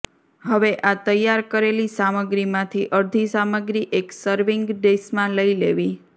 હવે આ તૈયાર કરેલી સામગ્રીમાંથી અડધી સામગ્રી એક સર્વીંગ ડીશમાં લઈ લેવી